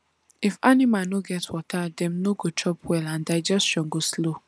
if animal no get water dem no go chop well and digestion go slow